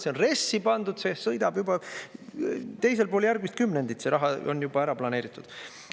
See on RES-i pandud, see sõidab juba teisel pool järgmist kümnendit, see raha on juba ära planeeritud.